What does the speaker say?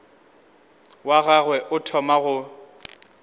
wa gagwe o thoma go